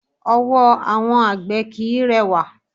Ọwọ́ àwọn àgbè kìí rẹwà.